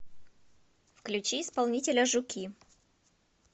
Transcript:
включи исполнителя жуки